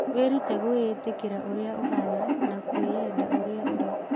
Wĩrute gwĩtĩkĩra ũrĩa ũhaana na kweyenda ũrĩa ũrĩ.